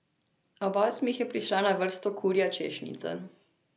Ob osmih je prišla na vrsto kurja češnjica.